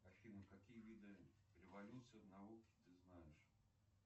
афина какие виды революции в науке ты знаешь